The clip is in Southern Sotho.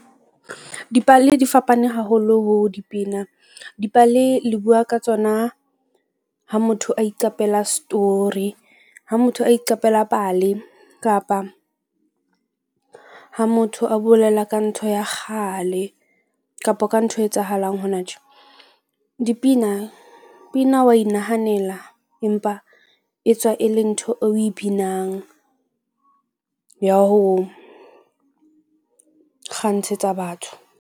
Dipale di fapane haholo ho dipina, dipale le bua ka tsona ha motho a iqapela story. Ha motho a iqapela pale kapa ha motho a bolela ka ntho ya kgale kapa ka ntho e etsahalang hona tjhe. Dipina pina wa inahanela empa e tswa e le ntho eo o e binang ya ho kgantshetsa batho.